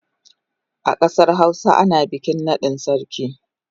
A kasar Hausawa ana bikin nadin sarki.